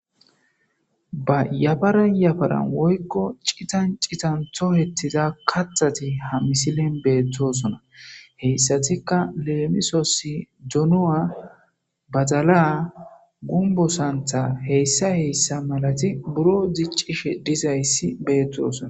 Yafaran yafaran woyko citan citan tohetida kathat ha misilen betosona , hesatika lemisos donuwa,badala , gumbo santha h.h.m buro dicishe dizays betosona